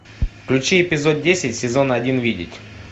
включи эпизод десять сезон один видеть